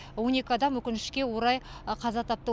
он екі адам өкінішке орай қаза тапты